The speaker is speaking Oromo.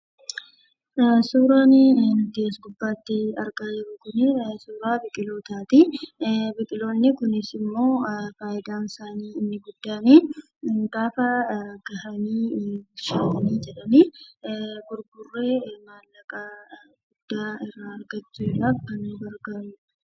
Suuraan nuti as gubaatti arga jiru kuni, waa'ee suuraa biqilootatti. Biqiloonni kunis immoo fayyidaan isaani inni guddanni, gaafaa gahaani soowwani jedhani gurguree mallaqaa guddaa argachuudhaaf kan nu gargarudha.